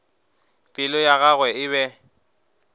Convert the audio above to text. pelo ya gagwe e be